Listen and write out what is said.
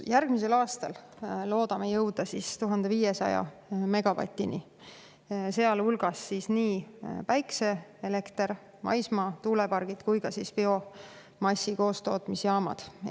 Järgmiseks aastaks loodame jõuda 1500 megavatini, seal hulgas on siis nii päikeseelekter, maismaatuulepargid kui ka biomassi koostootmisjaamad.